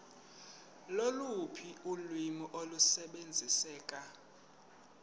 loluphi ulwimi olusebenziseka